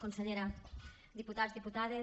consellera diputats diputades